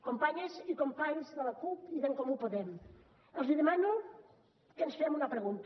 companyes i companys de la cup i d’en comú podem els demano que ens fem una pregunta